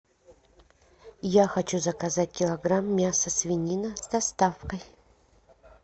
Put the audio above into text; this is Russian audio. я хочу заказать килограмм мяса свинина с доставкой